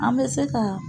An bɛ se ka